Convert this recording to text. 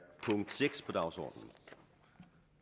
punkt seks på dagsordenen det er